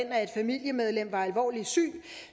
at et familiemedlem var alvorligt syg